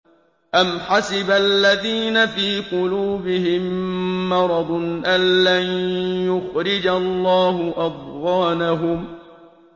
أَمْ حَسِبَ الَّذِينَ فِي قُلُوبِهِم مَّرَضٌ أَن لَّن يُخْرِجَ اللَّهُ أَضْغَانَهُمْ